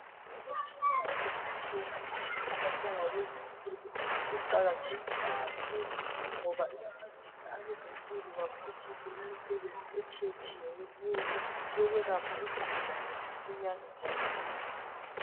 Imitshina etshiyetshiyeneyo esetshenziswa ngabezempilo iqakathekile kakhulu ngoba iyancedisa abazempilo baphutshise imisebenzi etshiyetshiyeneyo yokwelapha izigulane masinyane njalo lula.